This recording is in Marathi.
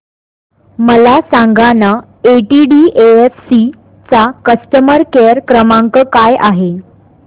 मला सांगाना केटीडीएफसी चा कस्टमर केअर क्रमांक काय आहे